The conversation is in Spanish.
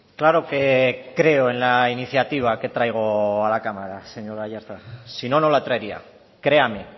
claro que creo en la iniciativa que traigo a la cámara señor aiartza si no no la traería créame